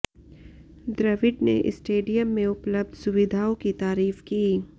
द्रविड़ ने स्टेडियम में उपलब्ध सुविधाओं की तारीफ की